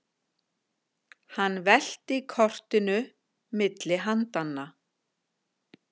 Hann velti kortinu milli handanna.